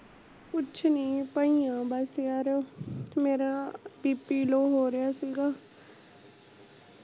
ਕੁਛ ਨੀ ਪਈ ਆ ਬਸ ਯਰ ਮੇਰਾ bp ਲੋਅ ਹੋ ਰਿਹਾ ਸੀਗਾ